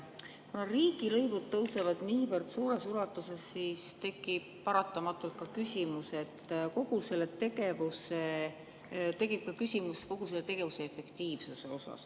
Kuna riigilõivud tõusevad niivõrd suures ulatuses, siis tekib paratamatult küsimus kogu selle tegevuse efektiivsuse kohta.